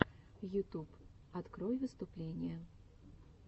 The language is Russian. ютуб открой выступления